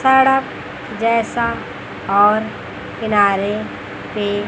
सड़क जैसा और किनारे पे--